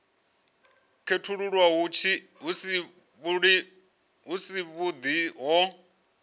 khethululwa hu si havhuḓi ho